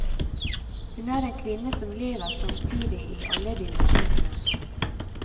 Hun er en kvinne som lever samtidig i alle dimensjoner.